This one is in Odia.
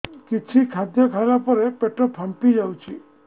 କିଛି ଖାଦ୍ୟ ଖାଇଲା ପରେ ପେଟ ଫାମ୍ପି ଯାଉଛି